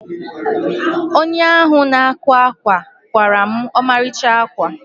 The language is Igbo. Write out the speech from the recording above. Onye ahụ na-akwa ákwà kwaara m ọmarịcha ákwà.